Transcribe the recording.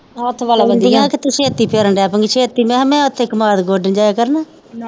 ਕਹਿੰਦੀਆਂ ਕੇ ਤੁਸੀ ਫਿਰਨ ਦੇ ਪੋਗੇ ਛੇਤੀ ਮੈ ਕਿਹਾ ਮੈ ਉੱਥੇ ਕਮਾਦ ਗੋਡਨ ਜਾਇਆ ਕਰਨਾ